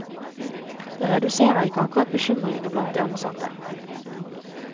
Det reduserer ikke akkurat bekymringen blant de ansatte.